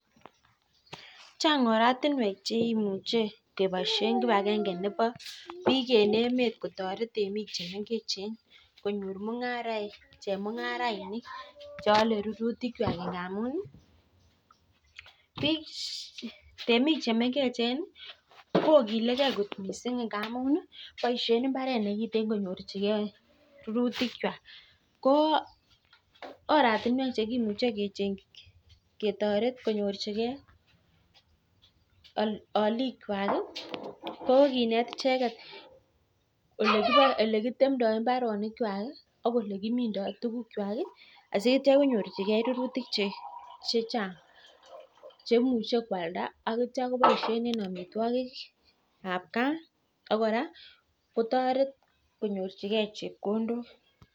Chang oratiwek cheimuche keboishen kibagenge nebo biik en emet kotoreten chemengechen chemungarainik cheole rurutikchwak ingamun ii biik temik chemengechen ii kokilekjei kot missing boishen imparet nemingin yoen minutikchwak ko oratiwek chekimuche ketoret konyirchikei olikchwak ko kinet icheket olekitemtoi imparonokchwak i ak olekimindoi tuguk chwak asikonyorchikei rurutik chechang chemuche kwalda ak jwalen tugukab kaa ak kora kotoret konyorchikei chepkondok.